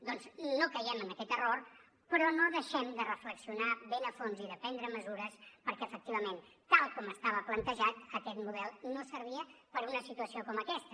doncs no caiguem en aquest error però no deixem de reflexionar ben a fons i de prendre mesures perquè efectivament tal com estava plantejat aquest model no servia per a una situació com aquesta